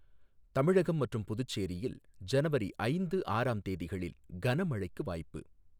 தமிழகம் மற்றும் புதுச்சேரியில் ஜனவரி ஐந்து, ஆறாம் தேதிகளில் கனமைழைக்கு வாய்ப்பு